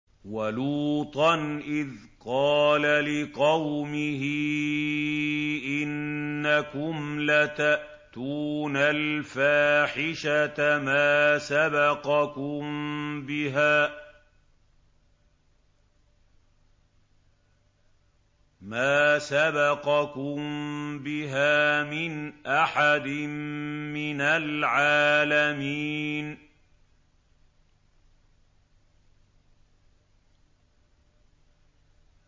وَلُوطًا إِذْ قَالَ لِقَوْمِهِ إِنَّكُمْ لَتَأْتُونَ الْفَاحِشَةَ مَا سَبَقَكُم بِهَا مِنْ أَحَدٍ مِّنَ الْعَالَمِينَ